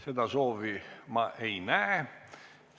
Seda soovi ma ei näe.